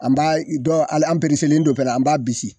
An b'a i dɔ an do pɛnɛ an b'a bisi